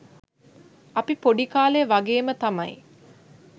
අපි පොඩි කාලේ වගේම තමයි